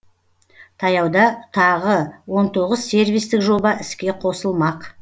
таяуда тағы он тоғыз сервистік жоба іске қосылмақ